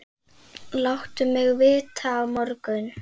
Láttu mig vita á morgun.